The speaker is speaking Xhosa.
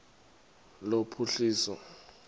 lophuhliso